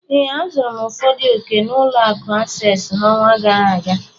Ee, azụrụ m ụfọdụ ọ̀kè na ụlọ akụ asesịị n'ọnwa gara aga.